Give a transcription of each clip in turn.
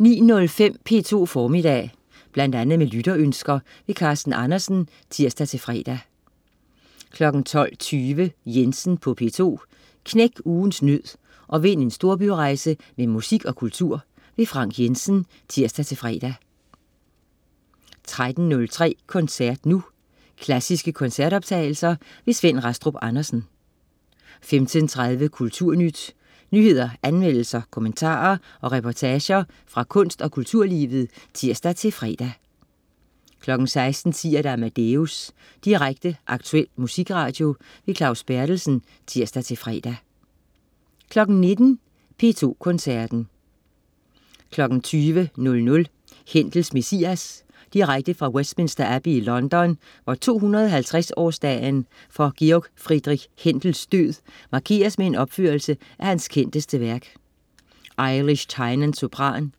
09.05 P2 Formiddag. Bl.a. med lytterønsker. Carsten Andersen (tirs-fre) 12.20 Jensen på P2. Knæk ugens nød og vind en storbyrejse med musik og kultur. Frank Jensen (tirs-fre) 13.03 Koncert nu. Klassiske koncertoptagelser. Svend Rastrup Andersen 15.30 Kulturnyt. Nyheder, anmeldelser, kommentarer og reportager fra kunst- og kulturlivet (tirs-fre) 16.10 Amadeus. Direkte, aktuel musikradio. Claus Berthelsen (tirs-fre) 19.00 P2 Koncerten. 20.00 Händels Messias. Direkte fra Westminster Abbey i London, hvor 250 årsdagen for Georg Friedrich Händels død markeres med en opførelse af hans kendteste værk. Ailish Tynan, sopran.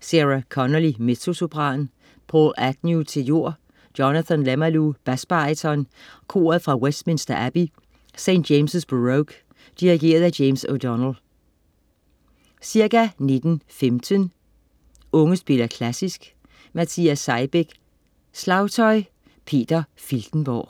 Sarah Connolly, mezzosopran. Paul Agnew, tenor. Jonathan Lemalu, basbaryton. Koret fra Westminster Abbey. St. James' Baroque. Dirigent: James O'Donnell. Ca. 19.15 Unge spiller klassisk. Matias Seibæk, slagtøj. Peter Filtenborg